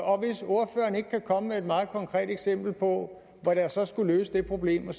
og hvis ordføreren ikke kan komme med et meget konkret eksempel på hvad der så skulle løse det problem